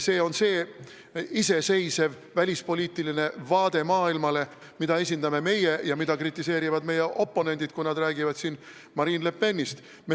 Iseseisev välispoliitiline vaade maailmale on see, mida esindame meie ja mida kritiseerivad meie oponendid, kui nad räägivad Marine Le Penist.